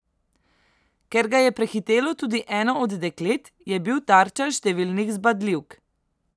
Ker ga je prehitelo tudi eno od deklet, je bil tarča številnih zbadljivk.